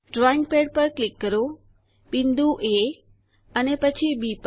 drawing pad પર click કરો બિંદુ એ અને પછી બી પર